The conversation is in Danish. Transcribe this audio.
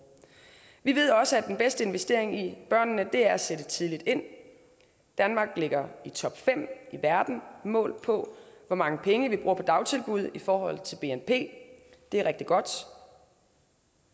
vi ved også at den bedste investering i børnene er at sætte tidligt ind danmark ligger i topfem i verden målt på hvor mange penge vi bruger på dagtilbud i forhold til bnp det er rigtig godt